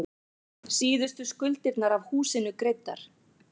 Síðustu skuldirnar af húsinu greiddar.